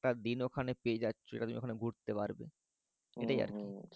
একটা দিন তুমি পেয়ে যাচ্ছ যেটা তুমি ওখানে ঘুরতে পারবে